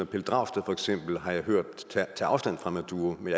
pelle dragsted har jeg hørt tage afstand fra maduro men